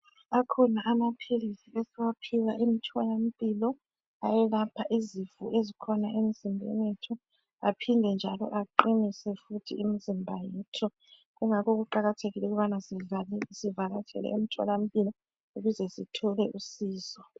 Akhona amaphilisi esiwaphiwayo emtholampilo ayelapha izifo ezikhona emzimbeni wethu aphinde njalo aqinise futhi imizimba yethu kungakho kuqakathekile ukubani zivatshele emtholampilo ukuze sithole usizo.